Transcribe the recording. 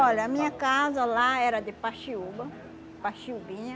Olha, a minha casa lá era de paxiúa, paxiubinha.